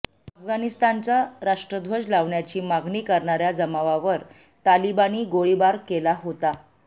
अफगाणिस्तानचा राष्ट्रध्वज लावण्याची मागणी करणाऱ्या जमावावर तालिबानीं गोळीबार केला होता